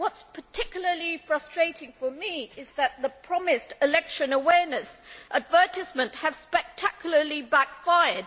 What is particularly frustrating for me is that the promised election awareness advertisement has spectacularly backfired.